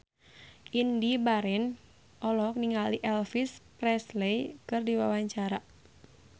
Indy Barens olohok ningali Elvis Presley keur diwawancara